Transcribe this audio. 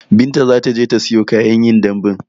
Binta zataje ta siyo kayan yin dambun